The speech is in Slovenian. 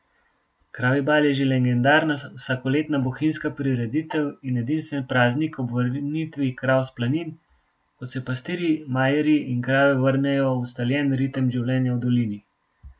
Kravji bal je že legendarna vsakoletna bohinjska prireditev in edinstven praznik ob vrnitvi krav s planin, ko se pastirji, majerji in krave vrnejo v ustaljen ritem življenja v dolini.